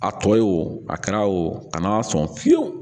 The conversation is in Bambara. A tɔ ye wo a kɛra wo a ma sɔn fiyewu